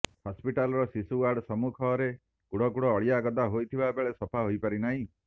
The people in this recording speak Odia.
ହସ୍ପିଟାଲର ଶିଶୁ ୱାର୍ଡ ସମ୍ମୁଖରେ କୁଢ଼ କୁଢ଼ ଅଳିଆ ଗଦା ହୋଇଥିବା ବେଳେ ସଫା ହୋଇପାରି ନାହିଁ